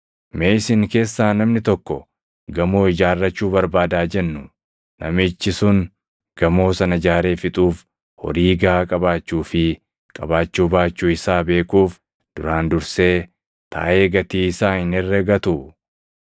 “Mee isin keessaa namni tokko gamoo ijaarrachuu barbaada haa jennuu; namichi sun gamoo sana ijaaree fixuuf horii gaʼaa qabaachuu fi qabaachuu baachuu isaa beekuuf duraan dursee taaʼee gatii isaa hin herregatuu?